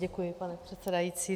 Děkuji, pane předsedající.